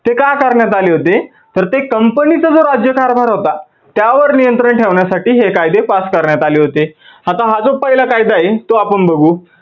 ते का करण्यात आले होते तर ते company चा जो राज्य कारभार होता त्यावर नियंत्रण ठेवण्यासाठी हे कायदे pass करण्यात आले होते. आता हा जो पहिला कायदा आहे तो आपण बघू